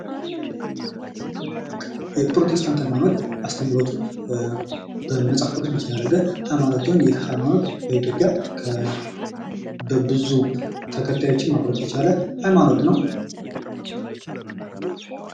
የፕሮቴስታንት ሀይማኖት አስተምህሮቱን በመጽሐፍ ቅዱስ ብቻ ላይ ያደረገ ሃይማኖት ሲሆን ፤ ይህ ሃይማኖት በኢትዮጵያ ብዙ ተከታዮችን ማፍራት የቻለ ሀይማኖት ነው።